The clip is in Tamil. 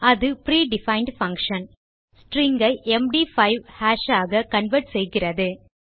அது பிரீடிஃபைண்ட் பங்ஷன் ஸ்ட்ரிங் ஐ எம்டி5 ஹாஷ் ஆக கன்வெர்ட் செய்கிறது